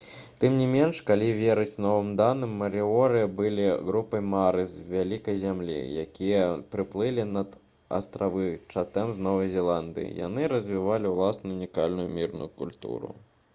тым не менш калі верыць новым даным марыоры былі групай маары з «вялікай зямлі» якія прыплылі на астравы чатэм з новай зеландыі. яны развівалі ўласную ўнікальную мірную культуру